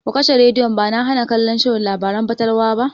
Ku kashe rediyon!ba na hana kallon shirin labaran fatalwa ba.